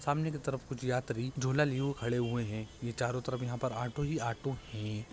सामने के तरफ कुछ यात्री झोला लिए हुए खड़े हुए हैं| ये चारो तरफ यहाँ पे ऑटो ही ऑटो हैं।